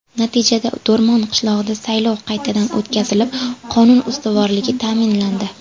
Natijada Do‘rmon qishlog‘ida saylov qaytadan o‘tkazilib, qonun ustuvorligi ta’minlandi.